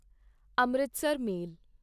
Amritsar ਮੇਲ